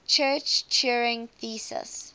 church turing thesis